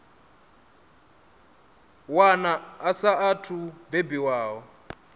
wana a saathu u bebiwaho